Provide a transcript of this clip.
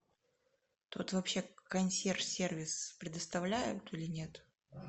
тут вообще консьерж сервис предоставляют или нет